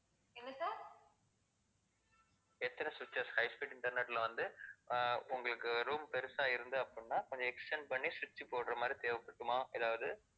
எத்தனை switches high speed internet ல வந்து, ஆஹ் உங்களுக்கு room பெருசா இருக்கு அப்படின்னா, கொஞ்சம் extend பண்ணி switch போடுற மாதிரி தேவை இருக்குமா ஏதாவது?